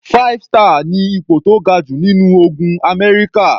Five star ni ipò tó ga jù nínú ogun Amẹ́ríkà.